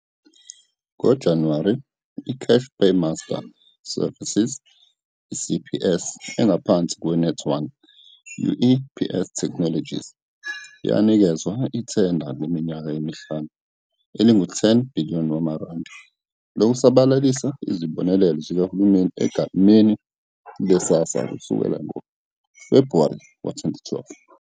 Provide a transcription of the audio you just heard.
NgoJanuwari 2012, iCash Paymaster Services, CPS, engaphansi kweNet1 UEPS Technologies, yanikezwa ithenda leminyaka emihlanu, elingu-R10 billion lokusabalalisa izibonelelo zikahulumeni egameni leSASSA kusukela ngoFebhuwari 2012.